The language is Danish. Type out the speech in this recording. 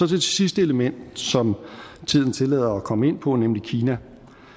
det sidste element som tiden tillader at komme ind på nemlig kina